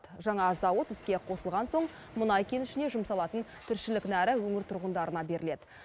жаңа зауыт іске қосылған соң мұнай кенішіне жұмсалатын тіршілік нәрі өңір тұрғындарына беріледі